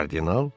Kardinal?